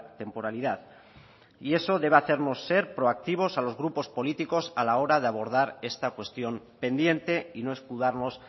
temporalidad y eso debe hacernos ser proactivos a los grupos políticos a la hora de abordar esta cuestión pendiente y no escudarnos